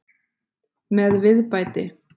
Með viðbæti.